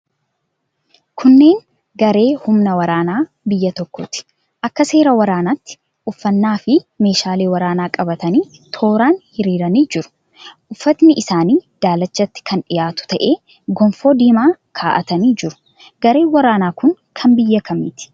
Kunneen garee humna waraanaa biyya tokkooti. Akka seera waraanaatti uffannaafi meeshaalee waraanaa qabatanii tooraan hiriiranii jiru. Uffatni isaanii daalachatti kan dhihaatu ta'ee gonfoo diimaa ka'atanii jiru. Gareen waraanaa kun kan biyya kamiiti?